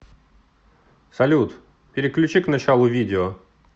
салют переключи к началу видео